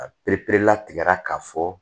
A pereperelatigɛra k'a fɔ